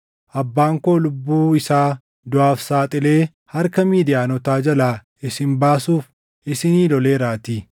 abbaan koo lubbuu isaa duʼaaf saaxilee harka Midiyaanotaa jalaa isin baasuuf isinii loleeraatii;